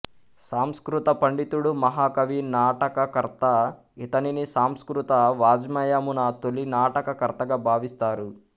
సంస్కృత పండితుడు మహాకవి నాటకకర్త ఇతనిని సంస్కృత వాజ్మయమున తొలి నాటకకర్తగా భావిస్తారు